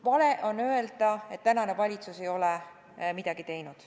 Vale on öelda, et praegune valitsus ei ole midagi teinud.